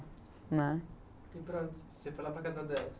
né. E para, você foi lá para a casa delas?